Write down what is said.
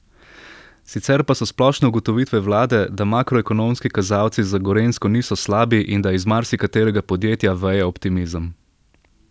Sicer pa so splošne ugotovitve vlade, da makroekonomski kazalci za Gorenjsko niso slabi in da iz marsikaterega podjetja veje optimizem.